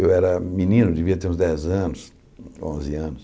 Eu era menino, devia ter uns dez anos, onze anos.